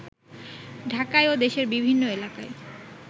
ঢাকায় ও দেশের বিভিন্ন এলাকায়